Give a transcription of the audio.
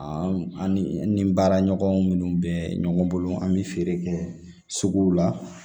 An an ni an ni baaraɲɔgɔn minnu bɛ ɲɔgɔn bolo an bɛ feere kɛ suguw la